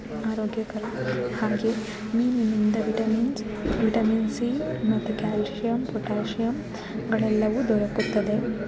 ಆರೋಗ್ಯಕರ ಆಗಿ ಮೀನಿನಿಂದ ವಿಟಮಿನ್ಸ್ ವಿಟಮಿನ್ ಸಿ ಮತ್ತು ಕ್ಯಾಲ್ಸಿಯಂ ಪೊಟ್ಯಾಶಿಯಂ ಗಳೆಲ್ಲವೂ ದೊರಕುತ್ತದೆ.